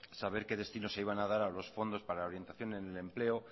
saber que destinos se iban a dar a los fondos para la orientación en el empleo